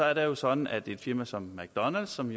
er det jo sådan at et firma som mcdonalds som